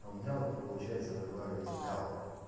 у меня вот не получается выговорить л